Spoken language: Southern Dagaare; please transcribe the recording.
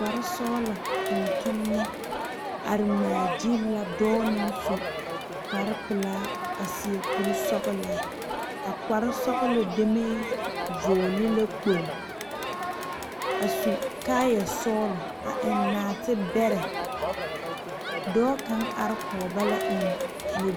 Kpare sɔglɔ tontomma are ŋmaa gyile la dɔɔ su kpare pelaa a suɛ kuri sɔglɔ, a kpare sɔglɔ deme vɔgle la kpoŋlo a su kaaya sɔglɔ a eŋ naate bɛre dɔɔ kaŋ are kɔŋ ba la eŋ kyɔboo.